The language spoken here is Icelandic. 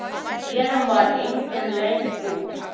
Héðan var engin leið út.